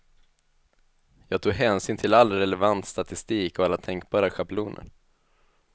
Jag tog hänsyn till all relevant statistik och alla tänkbara schabloner.